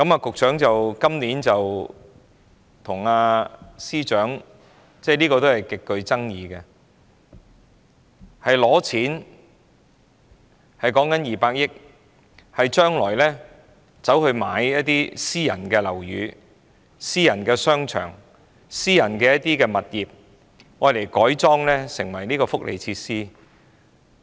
局長和司長今年提出一項極具爭議的措施，建議撥款200億元用作購置私人樓宇、商場及物業，將之改裝成為福利設施。